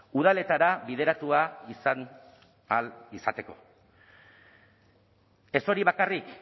udaletara bideratua izan ahal izateko ez hori bakarrik